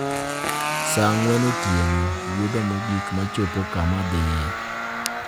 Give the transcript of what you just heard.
Saa ang'wen otieno, wuodha mogik ma chopo kama adhie